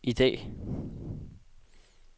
i dag